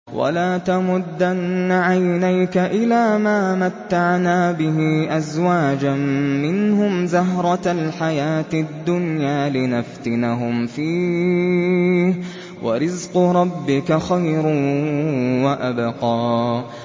وَلَا تَمُدَّنَّ عَيْنَيْكَ إِلَىٰ مَا مَتَّعْنَا بِهِ أَزْوَاجًا مِّنْهُمْ زَهْرَةَ الْحَيَاةِ الدُّنْيَا لِنَفْتِنَهُمْ فِيهِ ۚ وَرِزْقُ رَبِّكَ خَيْرٌ وَأَبْقَىٰ